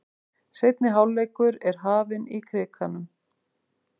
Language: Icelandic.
Seinni hálfleikur er hafinn í Krikanum